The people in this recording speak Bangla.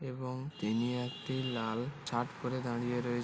এবং তিনি একটি লাল শার্ট পরে দাঁড়িয়ে রয়ে --